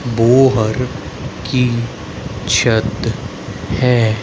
Bohr की छत है।